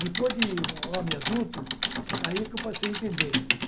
Depois de Homem Adulto, aí que eu passei a entender.